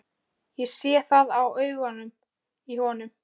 Ég sé það á augunum í honum.